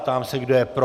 Ptám se, kdo je pro.